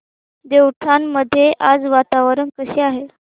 देवठाण मध्ये आज वातावरण कसे आहे